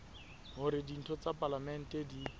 hore ditho tsa palamente di